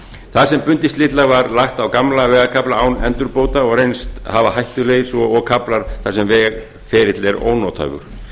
þar sem bundið slitlag var lagt á gamla vegarkafla auk endurbóta og reynst hafa hættulegir svo og kaflar þar sem vegferill er ónotaður